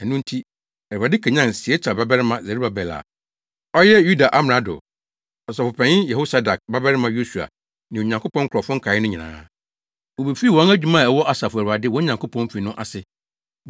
Ɛno nti, Awurade kanyan Sealtiel babarima Serubabel a ɔyɛ Yuda amrado, Ɔsɔfopanyin Yehosadak babarima Yosua ne Onyankopɔn nkurɔfo nkae no nyinaa. Wobefii wɔn adwuma a ɛwɔ Asafo Awurade, wɔn Nyankopɔn, fi no ase,